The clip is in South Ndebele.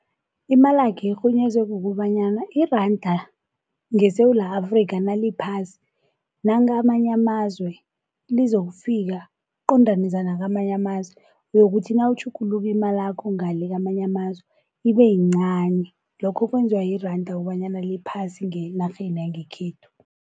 Imalakhe irhunyezwe kukobanyana iranda ngeSewula Afrika naliphasi nakamanye amazwe lizokufika, liqondaniswe nakamanye amazwe. Uyokuthi nawutjhugulula imalakho ngale kwamanye amazwe ibe yincani lokho kwenziwa iranda kobanyana liphasi ngenarheni yangekhethu.